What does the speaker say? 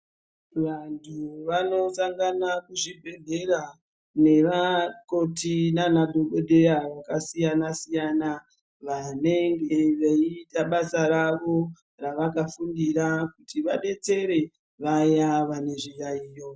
Vantu vanosangana kuzvibhedhera nevakoti nemadhokodheya akasiyana siyana vanenge veiita basa ravo ravakafundira kuti vabetsere vaya vane zviyayiyo.